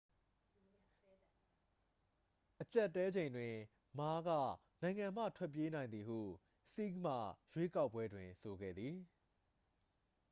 အကြပ်အတည်းချိန်တွင် မားက နိုင်ငံမှထွက်ပြေးနိုင်သည်ဟု ဆီးဟ်မှ ရွေးကောက်ပွဲတွင် ဆိုခဲ့သည်